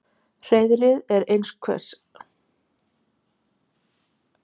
Hreiðrið er einhvers konar dyngja úr þurrum gróðri.